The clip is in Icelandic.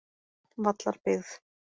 Vallarbyggð